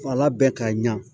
Ala bɛɛ ka ɲa